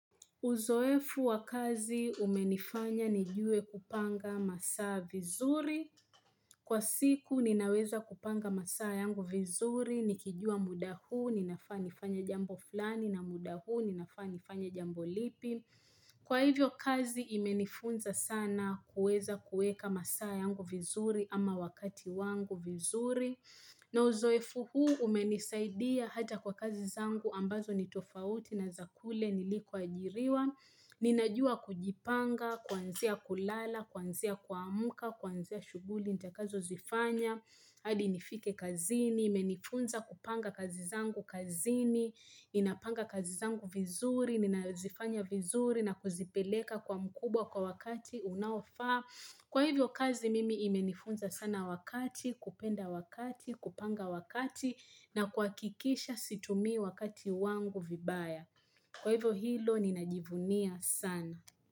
Uzoefu wa kazi umenifanya nijue kupanga masaa vizuri. Kwa siku ninaweza kupanga masaa yangu vizuri. Nikijua muda huu ninafaa nifanye jambo fulani na muda huu ninafaa nifanye jambo lipi. Kwa hivyo kazi imenifunza sana kuweza kuweka masaa yangu vizuri ama wakati wangu vizuri. Na uzoefu huu umenisaidia hata kwa kazi zangu ambazo nitofauti na za kule nilikoajiriwa. Ninajua kujipanga, kuanzia kulala, kuanzia kuamka, kuanzia shughuli nitakazozifanya. Hadi nifike kazini, imenifunza kupanga kazi zangu kazini, inapanga kazi zangu vizuri, ninazifanya vizuri na kuzipeleka kwa mkubwa kwa wakati unaofa. Kwa hivyo kazi mimi imenifunza sana wakati, kupenda wakati, kupanga wakati na kuhakikisha situmii wakati wangu vibaya. Kwa hivyo hilo, ninajivunia sana.